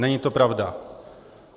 Není to pravda.